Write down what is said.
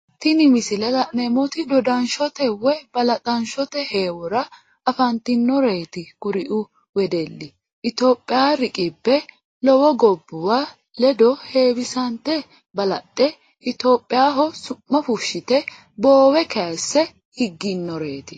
Tinni misile la'neemoti dodanshote woyi balaxanshote heewora afantinoreeti kuriu wedeli itophiya reliqibe lowo gobuwa ledo heewisante Balaxe itophiyaho su'ma fushite boowe kayise higinoreeti.